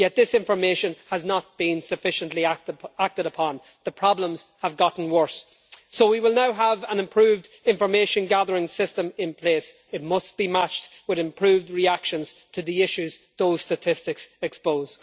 Yet this information has not been sufficiently acted upon and the problems have got worse. So, as we will now have an improved information gathering system in place, it must be matched with improved reactions to the issues which those statistics expose.